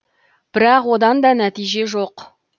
бірақ одан да нәтиже жоқ